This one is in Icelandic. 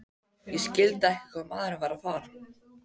Ég skildi ekki hvað maðurinn var að fara.